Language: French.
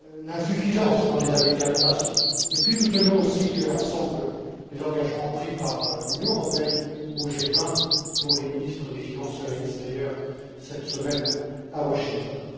l'insuffisance dans les années passées. En outre, nous tenons aussi, ensemble, les engagements pris par l'Union européenne au G20 dont les ministres des finances se réunissent, d'ailleurs, cette semaine à Washington.